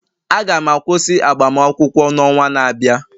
Aga m akwụsị agbamakwụkwọ n'ọnwa na-abịa